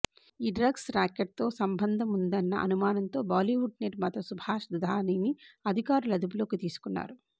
ఈ drugs racket తో సంబంధముందన్న అనుమానంతో బాలీవుడ్ నిర్మాత సుభాష్ దుధానిని అధికారులు అదుపులో తీసుకున్నారు